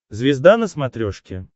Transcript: звезда на смотрешке